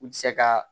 U tɛ se ka